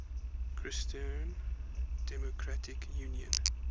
christian democratic union